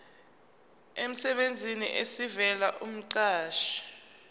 emsebenzini esivela kumqashi